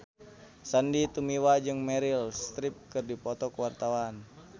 Sandy Tumiwa jeung Meryl Streep keur dipoto ku wartawan